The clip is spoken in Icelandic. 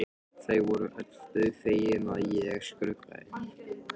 Þau voru öll dauðfegin að ég skrökvaði.